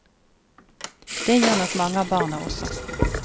Det gjør nok mange av barna også.